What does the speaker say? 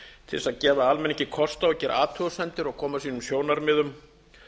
til þess að gefa almenningi kost á að gera athugasemdir og koma sínum sjónarmiðum